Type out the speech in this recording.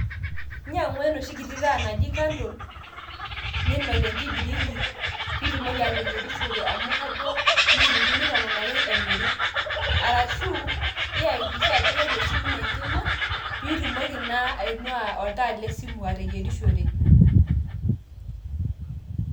inyiangu enoshi kiti taa naji candle, ninok te nkibiriti pee itumoki ateyierishore, amu kajo inchilinkini tomon ake emiri ashu, iyakikisha ajo keeta esimu ino enkima, pee itumoki naa ainuaa oltaa le simu ateyierishore.